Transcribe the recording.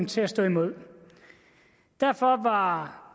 til at stå imod derfor var